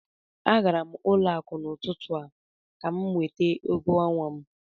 A gara m ụlọ akụ n'ụtụtụ a ka m nweta ụgwọ ọnwa